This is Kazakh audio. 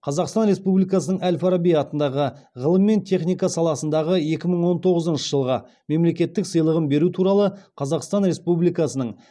қазақстан республикасының әл фараби атындағы ғылым мен техника саласындағы екі мың он тоғызыншы жылғы мемлекеттік сыйлығын беру туралы қазақстан республикасының